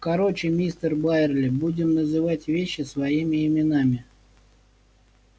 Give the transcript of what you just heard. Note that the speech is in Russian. короче мистер байерли будем называть вещи своими именами